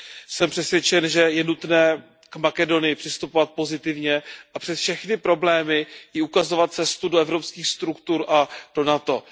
Jsem přesvědčen, že je nutné k Makedonii přistupovat pozitivně a přes všechny problémy jí ukazovat cestu do evropských struktur a do NATO.